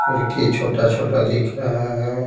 फिरकी छोटा-छोटा दिख रहा है।